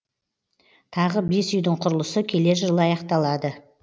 тағы бес үйдің құрылысы келер жылы аяқталады